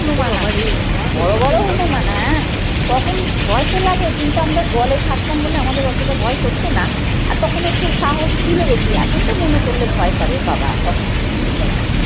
হনুমান আসতো। বড়ো বড়ো হনুমান হ্যাঁ তখন ভয় তো লাগে কিন্তু আমরা জলে থাকতাম বলে আমাদের অতটা ভয় করতো না আর তখন একটু সাহস ছিল বেশি এখন তো মনে করলে ভয় করে বাবা তখন কি দিন গেছে।